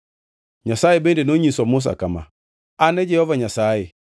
Nyasaye bende nonyiso Musa kama, “An e Jehova Nyasaye.